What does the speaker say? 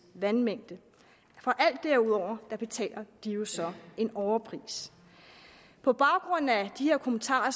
vandmængde for alt derudover betaler de jo så en overpris på baggrund af de her kommentarer